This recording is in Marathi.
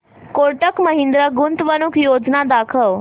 कोटक महिंद्रा गुंतवणूक योजना दाखव